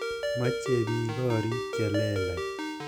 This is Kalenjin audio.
Moche bik gorik che lelach.